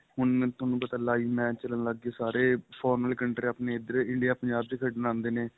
ਹੁਣ ਤੁਹਾਨੂੰ ਪਤਾ live match ਚੱਲਣ ਲੱਗ ਗਏ ਸਾਰੇ foreign country ਆਪਣੇਂ ਇੱਧਰ India ਪੰਜਾਬ ਵਿੱਚ ਖੇਡਣ ਆਉਦੇ ਨੇ